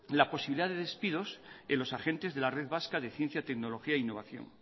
la posibilidad de despidos en los agentes de la red vasca de ciencia tecnología e innovación